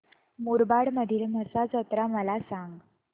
मुरबाड मधील म्हसा जत्रा मला सांग